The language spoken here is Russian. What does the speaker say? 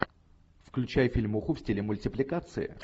включай фильмуху в стиле мультипликации